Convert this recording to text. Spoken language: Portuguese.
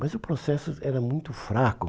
Mas o processo era muito fraco.